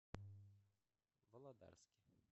володарске